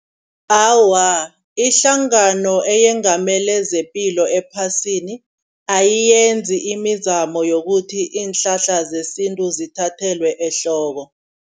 Awa ihlangano eyengamele zepilo ephasini ayiyenzi imizamo yokuthi iinhlahla zesintu zithathelwe ehloko.